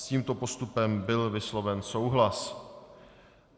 S tímto postupem byl vysloven souhlas.